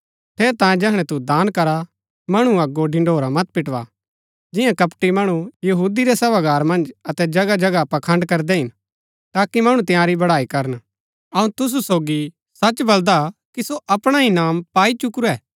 ठेरैतांये जैहणै तू दान करा मणु अगो ढिंढोरा मत पिटवा जिंआ कपटी मणु यहूदी रै सभागार मन्ज अतै जगह जगह पाखण्ड़ करदै हिन ताकि मणु तंयारी बड़ाई करन अऊँ तुसु सोगी सच बलदा कि सो अपणा इनाम पाई चुकुरै